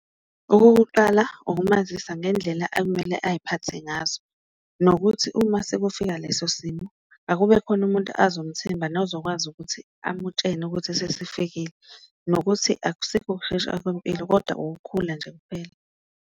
Okokuqala ukumazisa ngendlela akumele ayiphathe ngazo, nokuthi uma sekufika leso simo akube khona umuntu azomthemba nozokwazi ukuthi amutshene ukuthi sesifikile, nokuthi akusikho ukushesha kwempilo kodwa ukukhula nje kuphela.